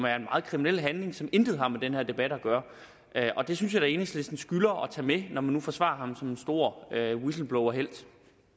er en meget kriminel handling som intet har med den her debat at gøre og det synes jeg da enhedslisten skylder at tage med når man nu forsvarer ham som den store whistleblowerhelt